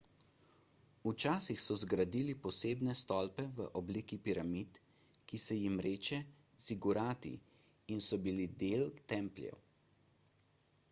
včasih so zgradili posebne stolpe v obliki piramid ki se jim reče zigurati in so bili del templjev